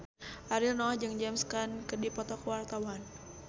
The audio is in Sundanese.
Ariel Noah jeung James Caan keur dipoto ku wartawan